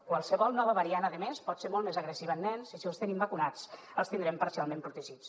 qualsevol nova variant a més pot ser molt més agressiva en nens i si els tenim vacunats els tindrem parcialment protegits